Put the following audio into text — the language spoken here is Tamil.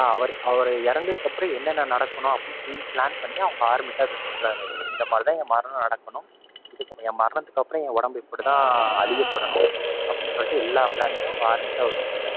அவரு அவரு இறந்ததுக்கப்பறம் என்னென்ன நடக்கணும் அப்படின்னு full plan பண்ணி அவங்க army ட்ட அதை சொல்றாரு அவரு. இந்த மாதிரி தான் என்னோட மரணம் நடக்கணும், என் மரணத்துக்கப்பறம் என் உடம்பு இப்படித்தான் அழியப்படணும், அப்படின்னு சொல்லிட்டு எல்லா plan னையும் அவங்க army ட்ட அவரு சொல்றாரு.